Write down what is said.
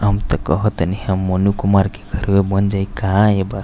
हम त कहतनी हम मोनू कुमार के घरवे बन जाईं का ए बार --